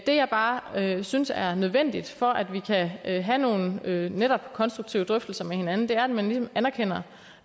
det jeg bare synes er nødvendigt for at vi kan have have nogle netop konstruktive drøftelser med hinanden er at man ligesom anerkender